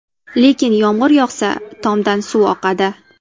Lekin yomg‘ir yoqsa, tomdan suv oqadi.